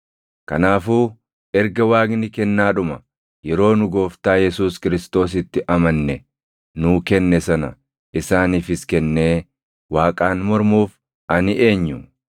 Kanaafuu erga Waaqni kennaadhuma yeroo nu gooftaa Yesuus Kiristoositti amanne nuu kenne sana isaaniifis kennee Waaqaan mormuuf ani eenyu?”